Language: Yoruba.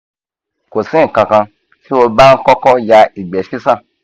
ko si nkankan ti o ba n koko ya igbe sisan